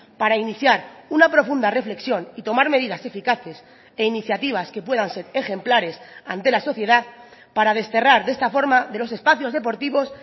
para iniciar una profunda reflexión y tomar medidas eficaces e iniciativas que puedan ser ejemplares ante la sociedad para desterrar de esta forma de los espacios deportivos